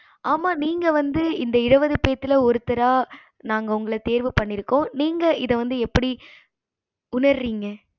ஆமா நீங்க வந்து இந்த இருபது பேத்துல ஒருத்தரா நாங்க உங்கள தேர்வு பண்ணிருக்கேன் நீங்க இத வந்து எப்படி உணரிங்க